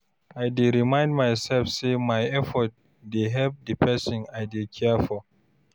I dey remind myself say my effort dey help the person I dey care for.